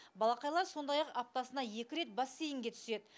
балақайлар сондай ақ аптасына екі рет бассейнге түседі